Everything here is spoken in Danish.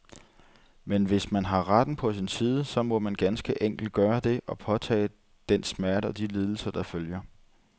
Men hvis man har retten på sin side, så må man ganske enkelt gøre det, og påtage sig den smerte og de lidelser, der følger.